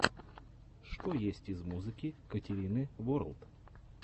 что есть из музыки катерины ворлд